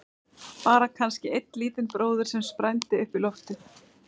Bara kannski einn lítinn bróður sem sprændi upp í loftið.